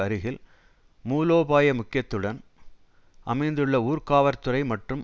அருகில் மூலோபாய முக்கியத்துடன் அமைந்துள்ள ஊர்காவற்துறை மற்றும்